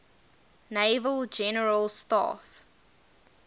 naval general staff